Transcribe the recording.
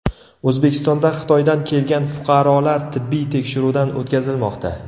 O‘zbekistonda Xitoydan kelgan fuqarolar tibbiy tekshiruvdan o‘tkazilmoqda.